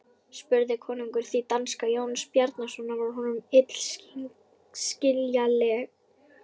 spurði konungur því danska Jóns Bjarnasonar var honum illskiljanleg.